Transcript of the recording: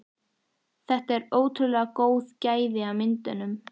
Og þetta eru ótrúlega góð gæði á myndunum?